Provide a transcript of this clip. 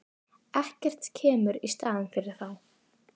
Ekkert kemur í staðinn fyrir þá.